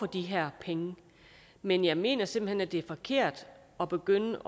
de her penge men jeg mener simpelt hen at det er forkert at begynde